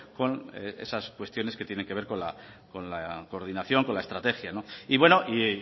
con esas cuestiones que tienen que ver con la coordinación con la estrategia y bueno y